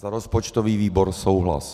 Za rozpočtový výbor souhlas.